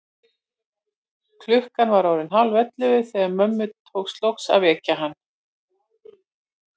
Klukkan var orðin hálfellefu þegar mömmu tókst loks að vekja hann.